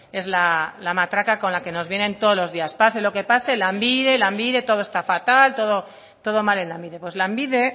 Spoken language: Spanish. es la matraca con la que nos vienen todos los días pase lo que pase lanbide lanbide todo está fatal todo mal en lanbide pues lanbide